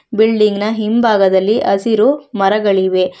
Building ನ ಹಿಂಭಾಗದಲ್ಲಿ ಹಸಿರು ಮರಗಳಿವೆ.